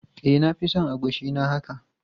E, na fi son agushi na haka.